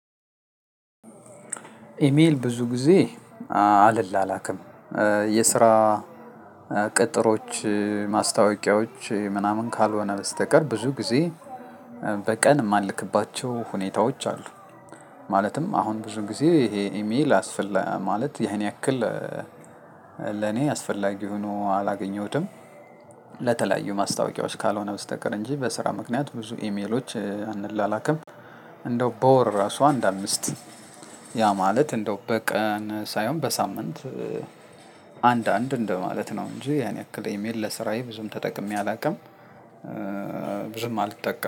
ኢሜል ብዙ ጊዜ አልላላክም የስራ ቅጥሮች ማስታወቂያዎች ምናምን ካልሆነ በስተቀር ብዙ ጊዜ በቀን እማልክባቸው ሁኔታዎች አሉ። ማለትም አሁን ብዙ ጊዜ ይሄ ኢሜል አስፈላ ማለት ይሄን ያክል ለኔ አስፈላጊ ሆኖ አላገኘሁትም። ለተለያዩ ማስታወቂያዎች ካልሆነ በስተቀር እንጂ በስራ ምክንያት ብዙ ኢሜሎች አንላላክም እንደው በወር ራሱ አንድ አምስት ያ ማለት እንደው በቀን ሳይሆን በሳምንት አንድ አንድ እንደው ማለት ነው እንጂ ያን ያክል በኢሜል ለስራዬ ብዙም ተጠቅሜ አላውቅም ብዙም አልተጠቀም